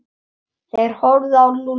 Þeir horfðu á Lúlla.